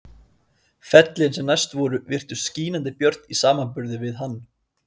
Fellin sem næst voru virtust skínandi björt í samanburði við hann.